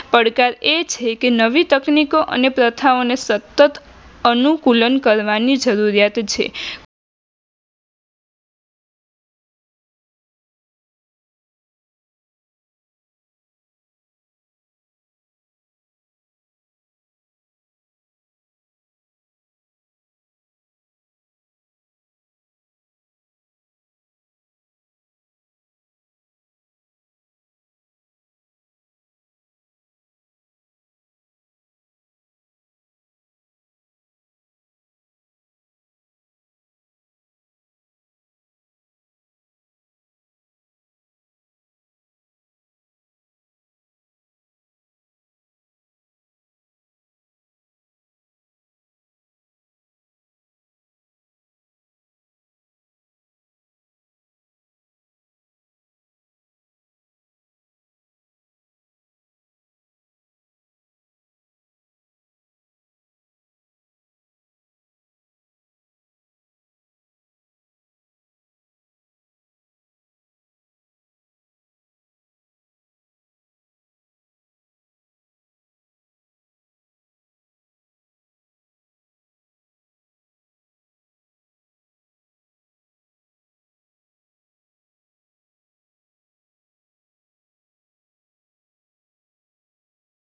પડકાર એ છે કે નવી તકનીકઓ અને પ્રથાઓને સતત અનુકુલન કરવાની જરૂરિયાત છે.